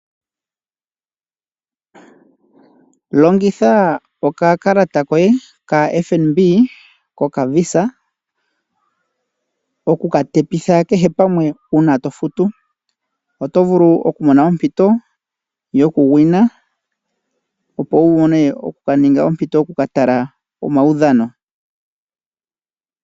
Longitha okakalata koye kaFNB kokaVisa oku ka longitha okufuta kehe pamwe uuna to futu, oto vulu okumona ompito yokusindana, opo wu vule okumona ompito yoku ka tala omaudhano.